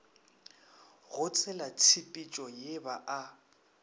go tselatshepetšo ye ba a